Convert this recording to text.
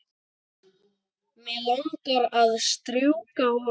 Mig langar að strjúka honum.